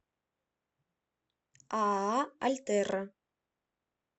ааа альтерра